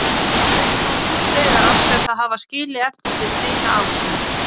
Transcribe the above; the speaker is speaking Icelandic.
Þær eru nú útdauða án þess að hafa skilið eftir sig neina afkomendur.